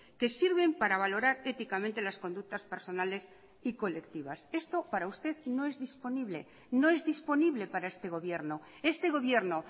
que sirven para valorar éticamente las conductas personales y colectivas esto para usted no es disponible no es disponible para este gobierno este gobierno